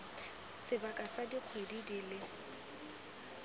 sebaka sa dikgwedi di le